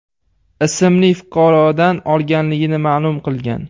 ismli fuqarodan olganligini ma’lum qilgan.